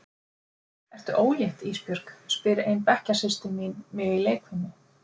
Ertu ólétt Ísbjörg, spyr ein bekkjarsystir mín mig í leikfimi.